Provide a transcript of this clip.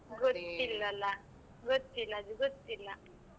ಗೊತ್ತಿಲ್ಲಲ್ಲ ಗೊತ್ತಿಲ್ಲಾ ಅದು ಗೊತ್ತಿಲ್ಲ.